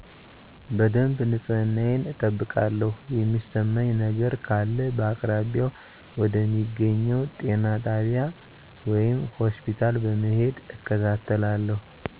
በደብ ንጽህናየን እጠብቃለው የሚሰማኝ ነገረ ካለ በአቅራቢያው ወደ ሚገኘው ጤና ጣቢይ ወይም ሆስፒታል በመሄድ እከታተላለው።